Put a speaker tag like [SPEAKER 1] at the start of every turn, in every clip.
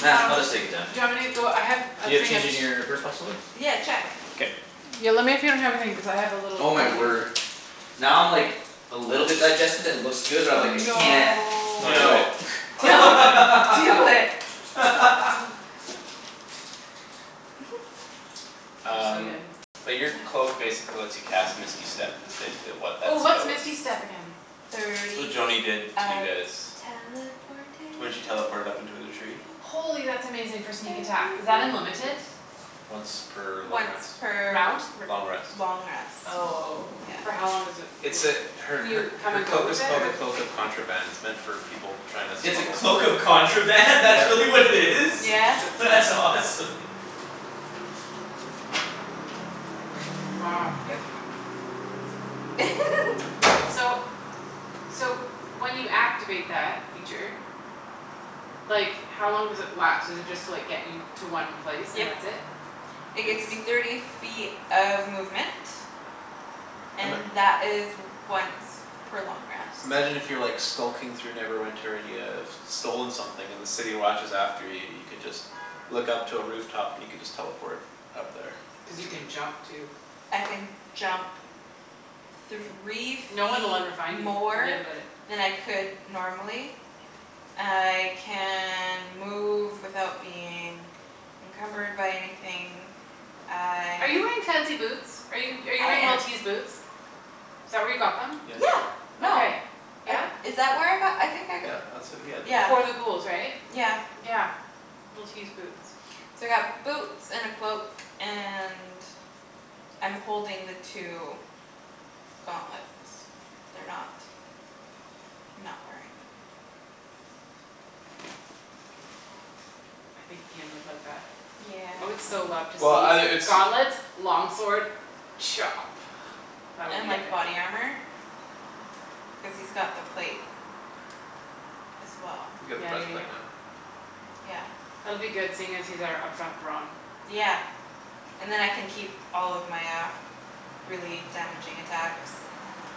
[SPEAKER 1] Nah,
[SPEAKER 2] Um
[SPEAKER 1] I'll just take it down.
[SPEAKER 2] do you want me to go I have a
[SPEAKER 1] You have
[SPEAKER 2] thing of
[SPEAKER 1] change in your purse possibly?
[SPEAKER 3] Yeah check
[SPEAKER 1] K
[SPEAKER 2] Yo lemme if you don't have a thing cuz I have a little
[SPEAKER 1] Oh my
[SPEAKER 2] container
[SPEAKER 1] word. Now I'm like A little bit digested and it looks good but I'm like, "I can't"
[SPEAKER 3] No
[SPEAKER 4] Don't do
[SPEAKER 1] No.
[SPEAKER 4] it. Don't do it
[SPEAKER 3] Don't
[SPEAKER 4] man
[SPEAKER 3] do it. Oh.
[SPEAKER 2] They're so
[SPEAKER 4] Um
[SPEAKER 2] good
[SPEAKER 4] but your cloak
[SPEAKER 3] Yeah
[SPEAKER 4] basically lets you cast misty step is basically what that
[SPEAKER 2] Oh what's
[SPEAKER 4] spell is.
[SPEAKER 2] misty step again?
[SPEAKER 4] It's what
[SPEAKER 3] Thirty
[SPEAKER 4] Joany
[SPEAKER 3] feet
[SPEAKER 4] did to you
[SPEAKER 3] of
[SPEAKER 4] guys.
[SPEAKER 3] teleportation.
[SPEAKER 4] When she teleported up to the tree
[SPEAKER 2] Holy that's amazing for sneak attack. Is
[SPEAKER 3] Thirty
[SPEAKER 2] that unlimited?
[SPEAKER 3] feet.
[SPEAKER 4] Once per long
[SPEAKER 3] Once
[SPEAKER 4] rest.
[SPEAKER 3] per r-
[SPEAKER 2] Round?
[SPEAKER 3] r-
[SPEAKER 4] Long rest.
[SPEAKER 3] long rest.
[SPEAKER 2] Oh
[SPEAKER 3] Yeah
[SPEAKER 2] for how long does it
[SPEAKER 4] It's
[SPEAKER 2] l-
[SPEAKER 4] a her
[SPEAKER 2] can
[SPEAKER 4] her
[SPEAKER 2] you come
[SPEAKER 4] her
[SPEAKER 2] and go
[SPEAKER 4] cloak is
[SPEAKER 2] with it
[SPEAKER 4] called a
[SPEAKER 2] or?
[SPEAKER 4] cloak of contraband It's meant for people tryin' to
[SPEAKER 1] It's a
[SPEAKER 4] smuggle.
[SPEAKER 1] cloak of contraband? That's
[SPEAKER 4] Yeah
[SPEAKER 1] really what it is?
[SPEAKER 3] Yeah
[SPEAKER 1] That's awesome.
[SPEAKER 2] Wow
[SPEAKER 3] Yep
[SPEAKER 2] So So when you activate that feature Like how long does it last? Does it just like get you to one place
[SPEAKER 3] Yep.
[SPEAKER 2] and that's it?
[SPEAKER 3] It
[SPEAKER 4] It's
[SPEAKER 3] gets me thirty feet of movement.
[SPEAKER 4] Um
[SPEAKER 3] And
[SPEAKER 4] a
[SPEAKER 3] that is once per long rest.
[SPEAKER 4] Imagine if you're skulking through Neverwinter and you have Stolen something and the city watch is after you you could just Look up to a roof top and you could just teleport Up there
[SPEAKER 2] Cuz
[SPEAKER 4] or
[SPEAKER 2] you
[SPEAKER 4] something.
[SPEAKER 2] can jump too.
[SPEAKER 3] I can jump Three
[SPEAKER 2] No one'll
[SPEAKER 3] feet
[SPEAKER 2] ever find you.
[SPEAKER 3] more
[SPEAKER 2] Forget about it.
[SPEAKER 3] than I could normally I can move without being Encumbered by anything
[SPEAKER 2] Are
[SPEAKER 3] I
[SPEAKER 2] you wearing fancy boots? Are you
[SPEAKER 3] I
[SPEAKER 2] wearing
[SPEAKER 3] am
[SPEAKER 2] Li'l T's boots? Is that where you got them?
[SPEAKER 4] Yeah
[SPEAKER 3] Yeah no.
[SPEAKER 2] Okay.
[SPEAKER 3] I
[SPEAKER 2] Yeah?
[SPEAKER 3] is that where I got them? I think I g-
[SPEAKER 4] Yeah that's where you got them.
[SPEAKER 3] Yeah
[SPEAKER 2] Before the ghouls right?
[SPEAKER 3] yeah
[SPEAKER 2] Yeah. Li'l T's boots.
[SPEAKER 3] So I got boots and a cloak and I'm holding the two gauntlets they're not Not wearing them.
[SPEAKER 2] I think Ian would like that. I would
[SPEAKER 3] Yeah
[SPEAKER 2] so love to
[SPEAKER 4] Well outta
[SPEAKER 2] see
[SPEAKER 4] it's
[SPEAKER 2] gauntlets long sword Chop. That would
[SPEAKER 3] And
[SPEAKER 2] be
[SPEAKER 3] like
[SPEAKER 2] epic.
[SPEAKER 3] body armor Cuz he's got the plate as well
[SPEAKER 4] You got the
[SPEAKER 2] Yeah
[SPEAKER 4] best
[SPEAKER 2] yeah
[SPEAKER 4] plate
[SPEAKER 2] yeah
[SPEAKER 4] man
[SPEAKER 3] Yeah
[SPEAKER 2] That'll be good seeing as he's our up front brawn.
[SPEAKER 3] Yeah And then I can keep all of my uh really damaging attacks.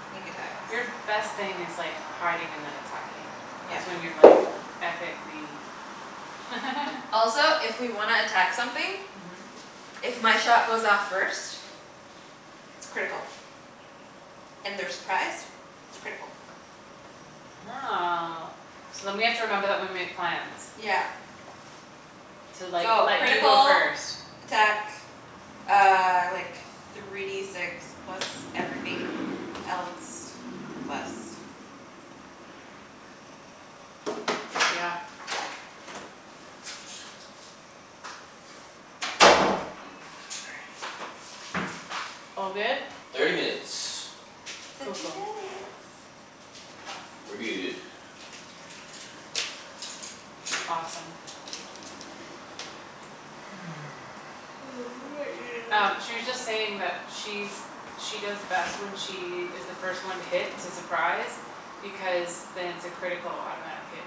[SPEAKER 3] Sneak attacks
[SPEAKER 2] Your best thing is like hiding and then attacking.
[SPEAKER 3] Yeah
[SPEAKER 2] That's when you're like epicly
[SPEAKER 3] Also if we wanna attack something.
[SPEAKER 2] Mhm
[SPEAKER 3] If my shot goes off first It's critical and they're surprised It's critical
[SPEAKER 2] Oh so then we have to remember that when we make plans
[SPEAKER 3] Yeah
[SPEAKER 2] To like
[SPEAKER 3] So
[SPEAKER 2] let you go
[SPEAKER 3] critical
[SPEAKER 2] first.
[SPEAKER 3] attack uh like Three D six plus everything else plus
[SPEAKER 2] Yeah All good?
[SPEAKER 1] Thirty minutes.
[SPEAKER 2] Cool
[SPEAKER 3] Thirty
[SPEAKER 2] cool
[SPEAKER 3] minutes.
[SPEAKER 1] We're good.
[SPEAKER 2] Awesome.
[SPEAKER 3] I might need
[SPEAKER 2] Um
[SPEAKER 3] another
[SPEAKER 2] she was just
[SPEAKER 3] coffee.
[SPEAKER 2] saying that she's She does best when she is the first one to hit it's a surprise. Because then it's a critical automatic hit.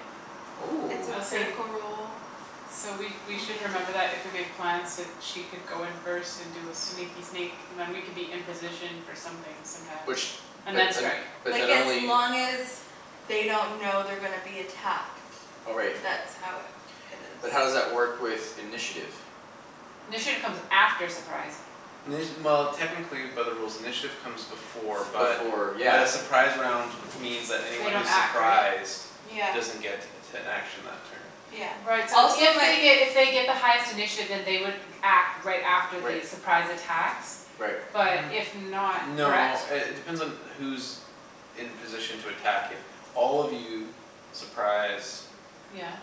[SPEAKER 3] It's
[SPEAKER 1] Oh
[SPEAKER 3] a
[SPEAKER 2] I was saying
[SPEAKER 3] critical roll
[SPEAKER 2] So we we
[SPEAKER 3] on
[SPEAKER 2] should
[SPEAKER 3] the attack.
[SPEAKER 2] remember that if we make plans that she could go in first and do a sneaky sneak And then we could be in position for something sometimes.
[SPEAKER 1] Which
[SPEAKER 2] And
[SPEAKER 1] but
[SPEAKER 2] then
[SPEAKER 1] un-
[SPEAKER 2] strike.
[SPEAKER 3] Like
[SPEAKER 1] but
[SPEAKER 3] as
[SPEAKER 1] only
[SPEAKER 3] long as they don't know they're gonna be attacked.
[SPEAKER 1] Oh right.
[SPEAKER 3] That's how it it is
[SPEAKER 1] But how does that work with initiative?
[SPEAKER 2] Initiative comes after surprise.
[SPEAKER 4] Well technically by the rules initiative Comes before but
[SPEAKER 1] Before
[SPEAKER 4] but
[SPEAKER 1] yeah
[SPEAKER 4] a Surprise round means that
[SPEAKER 2] They
[SPEAKER 4] anyone
[SPEAKER 2] don't
[SPEAKER 4] who's
[SPEAKER 2] act, right?
[SPEAKER 4] Surprised
[SPEAKER 3] Yeah
[SPEAKER 4] doesn't get An action that turn
[SPEAKER 3] Yeah
[SPEAKER 2] Right so
[SPEAKER 3] also
[SPEAKER 2] if
[SPEAKER 3] my
[SPEAKER 2] they
[SPEAKER 3] f-
[SPEAKER 2] get if they get the highest initiative then they would act right after
[SPEAKER 1] Right.
[SPEAKER 2] the surprise attacks
[SPEAKER 1] Right.
[SPEAKER 2] But if not
[SPEAKER 4] N- no
[SPEAKER 2] correct?
[SPEAKER 4] uh it depends on who's In position to attack if All of you surprise
[SPEAKER 2] Yeah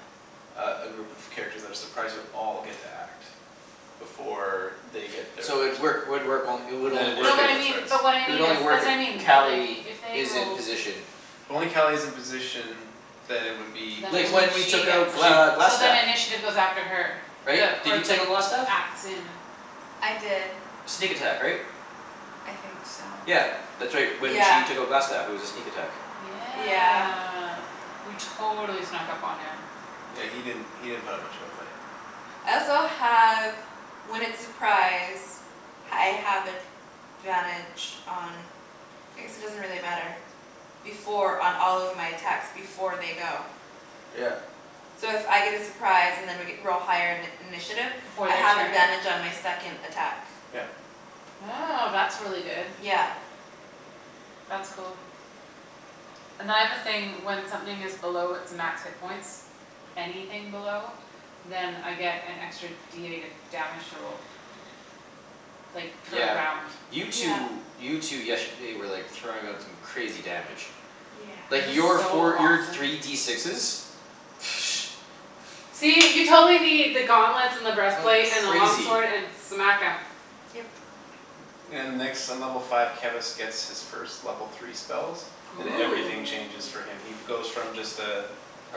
[SPEAKER 4] Uh a group of characters that are surprised you'll all get to act Before they get their
[SPEAKER 1] So it
[SPEAKER 4] first
[SPEAKER 1] work would work it would
[SPEAKER 4] Then
[SPEAKER 1] only work
[SPEAKER 2] No
[SPEAKER 4] initiative
[SPEAKER 2] but
[SPEAKER 1] if
[SPEAKER 2] I
[SPEAKER 4] wouldn't
[SPEAKER 2] mean
[SPEAKER 4] start
[SPEAKER 2] but what I
[SPEAKER 1] It would
[SPEAKER 2] mean is
[SPEAKER 1] only work
[SPEAKER 2] that's
[SPEAKER 1] if
[SPEAKER 2] what I mean that like
[SPEAKER 1] Cali
[SPEAKER 2] if they
[SPEAKER 1] is in
[SPEAKER 2] rolled
[SPEAKER 1] position.
[SPEAKER 4] If only Cali is in position Then it would be
[SPEAKER 2] Then
[SPEAKER 1] Like
[SPEAKER 4] just
[SPEAKER 2] only
[SPEAKER 1] when we
[SPEAKER 2] she
[SPEAKER 1] took out
[SPEAKER 2] gets it
[SPEAKER 4] she'd
[SPEAKER 1] Gl-
[SPEAKER 2] so then
[SPEAKER 1] Glastaff.
[SPEAKER 2] initiative goes after her.
[SPEAKER 1] Right?
[SPEAKER 2] The
[SPEAKER 1] Did
[SPEAKER 2] or
[SPEAKER 1] you take
[SPEAKER 2] like
[SPEAKER 1] out Glastaff?
[SPEAKER 2] acts in
[SPEAKER 3] I did
[SPEAKER 1] Sneak attack right?
[SPEAKER 3] I think so
[SPEAKER 1] Yeah that's right. When
[SPEAKER 3] Yeah
[SPEAKER 1] she took out Glastaff it was a sneak attack.
[SPEAKER 2] Yeah
[SPEAKER 3] Yeah
[SPEAKER 2] we totally snuck up on him.
[SPEAKER 4] Yeah he didn't he didn't put up that much of a fight.
[SPEAKER 3] I also have when it's surprise I have advantage on I guess it doesn't really matter Before on all of my attacks before they go.
[SPEAKER 4] Yeah
[SPEAKER 3] So if I get a surprise and I g- we're all higher in- initiative
[SPEAKER 2] Before
[SPEAKER 3] I
[SPEAKER 2] their
[SPEAKER 3] have
[SPEAKER 2] turn?
[SPEAKER 3] advantage on my second attack.
[SPEAKER 4] Yeah
[SPEAKER 2] Oh that's really good.
[SPEAKER 3] Yeah
[SPEAKER 2] That's cool And then I have a thing when something is below its max hit points Anything below Then I get an extra D eight of damage to roll. Like per
[SPEAKER 1] Yeah
[SPEAKER 2] round.
[SPEAKER 1] you
[SPEAKER 3] Yeah
[SPEAKER 1] two you two yesterday were like throwing out some crazy damage. Like
[SPEAKER 2] It was
[SPEAKER 1] your
[SPEAKER 3] Yes
[SPEAKER 2] so
[SPEAKER 1] four your
[SPEAKER 2] awesome.
[SPEAKER 1] three D sixes
[SPEAKER 2] See you totally need the gauntlets and the
[SPEAKER 1] That was
[SPEAKER 2] breastplate and the long
[SPEAKER 1] crazy.
[SPEAKER 2] sword and smack 'em.
[SPEAKER 3] Yep
[SPEAKER 4] And next in level five Kevus gets his first level three spells And everything changes
[SPEAKER 3] Oh
[SPEAKER 4] for him. He goes from just uh
[SPEAKER 1] A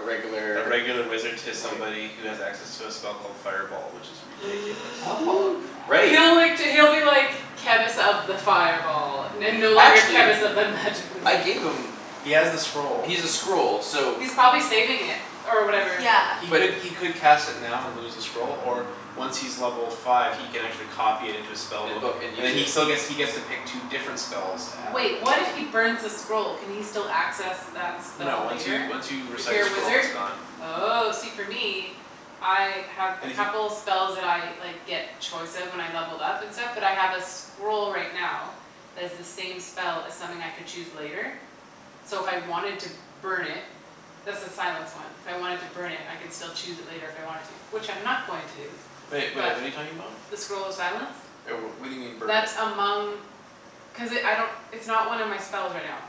[SPEAKER 4] A
[SPEAKER 1] regular
[SPEAKER 4] regular wizard To
[SPEAKER 1] like
[SPEAKER 4] somebody who has access to a spell called Fireball which is ridiculous.
[SPEAKER 3] Oh god
[SPEAKER 1] Right
[SPEAKER 2] He'll like d- he'll be like Kevus of the fireball And no longer
[SPEAKER 1] Actually
[SPEAKER 2] Kevus of the magic missile.
[SPEAKER 1] I gave them
[SPEAKER 4] He has the scroll.
[SPEAKER 1] He's a scroll so
[SPEAKER 2] He's probably saving it or whatever.
[SPEAKER 4] He
[SPEAKER 3] Yeah
[SPEAKER 1] But
[SPEAKER 4] could he could cast it now and lose the scroll Or once he's level five he can Actually copy it into his spell
[SPEAKER 1] In
[SPEAKER 4] book
[SPEAKER 1] book and
[SPEAKER 4] And then
[SPEAKER 1] use
[SPEAKER 4] he
[SPEAKER 1] it.
[SPEAKER 4] still gets he gets to pick two different spells to add
[SPEAKER 2] Wait what if he burns the scroll? Can he still access that
[SPEAKER 4] No
[SPEAKER 2] spell
[SPEAKER 4] once you
[SPEAKER 2] later?
[SPEAKER 4] once you
[SPEAKER 2] If
[SPEAKER 4] recite a
[SPEAKER 2] you're a
[SPEAKER 4] scroll it's
[SPEAKER 2] wizard?
[SPEAKER 4] gone.
[SPEAKER 2] Oh see for me I have a
[SPEAKER 4] And if you
[SPEAKER 2] couple spells that I like get choice of when I levelled up and stuff but I have a scroll right now Has the same spell as something I could choose later So if I wanted to burn it That's the silence one. If I wanted to burn it I could still choose it later if I wanted to which I'm not going to do.
[SPEAKER 4] Wait wait
[SPEAKER 2] But
[SPEAKER 4] what're you talking about?
[SPEAKER 2] the scroll of silence
[SPEAKER 4] Right well what do you mean burn it?
[SPEAKER 2] That among Cuz it I don't it's not one of my spells right now.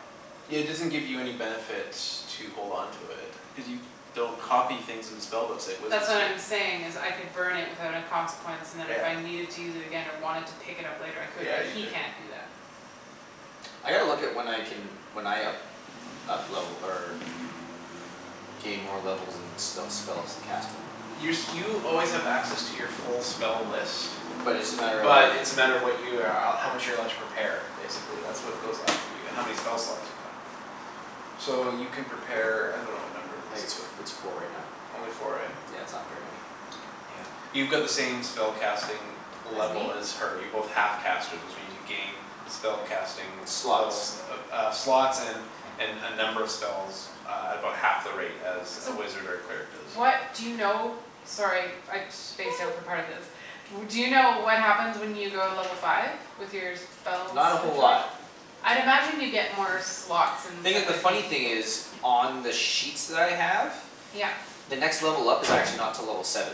[SPEAKER 4] Yeah it doesn't give you any benefit to hold on to it Cuz you don't copy things into spellbooks Like wizards
[SPEAKER 2] That's what
[SPEAKER 4] do
[SPEAKER 2] I'm saying is I could burn it without a consequence And then if I
[SPEAKER 4] Yeah
[SPEAKER 2] needed to use it again or wanted to pick it up later I could.
[SPEAKER 4] Yeah you
[SPEAKER 2] He
[SPEAKER 4] could.
[SPEAKER 2] can't do that
[SPEAKER 1] I gotta look at when I can when I up up level or gain more levels and sp- spells and cast 'em
[SPEAKER 4] Your you always have access to your full spell list
[SPEAKER 1] But it's just a matter of like
[SPEAKER 4] But it's a matter of what you uh how much you're allowed To prepare, basically that's what goes up for you and how many spell slots you have. So you can prepare I dunno what number it
[SPEAKER 1] I
[SPEAKER 4] is
[SPEAKER 1] think it's
[SPEAKER 4] but
[SPEAKER 1] it's four right now
[SPEAKER 4] Only four right?
[SPEAKER 1] Yeah it's not very many.
[SPEAKER 4] Yeah. You got the same spellcasting
[SPEAKER 2] As
[SPEAKER 4] Level
[SPEAKER 2] me?
[SPEAKER 4] as her. You're both half casters which means you gain Spell casting
[SPEAKER 1] Slots
[SPEAKER 4] levels uh slots and And uh number of spells uh At about half the rate as a
[SPEAKER 2] So
[SPEAKER 4] wizard or Cleric
[SPEAKER 2] What
[SPEAKER 4] does
[SPEAKER 2] do you know? Sorry I spaced out for part of this. W- do you know what happens when you go to level five? With your spell
[SPEAKER 1] Not a whole lot.
[SPEAKER 2] situation? I'd imagine you get more slots and
[SPEAKER 1] Thing i-
[SPEAKER 2] stuff
[SPEAKER 1] the
[SPEAKER 2] like
[SPEAKER 1] funny
[SPEAKER 2] me.
[SPEAKER 1] thing is On the sheets that I have
[SPEAKER 2] Yep.
[SPEAKER 1] The next level up is actually not till level seven.